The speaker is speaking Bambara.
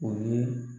O ye